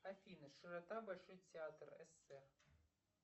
афина широта большой театр ссср